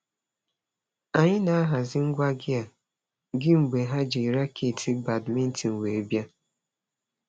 Anyị na-ahazi ngwa gịa gị mgbe ha ji raketị badmintin wee bịa.